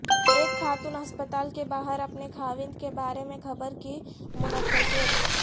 ایک خاتون ہسپتال کے باہر اپنے خاوند کے بارے میں خبر کی منتظر